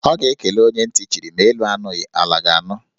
Ọ ga-ekele onye ntị chiri; ma elu anụghị, ala ga-anụ